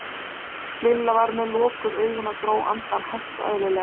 Lilla var með lokuð augun og dró andann hægt og eðlilega.